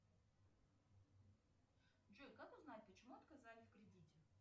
джой как узнать почему отказали в кредите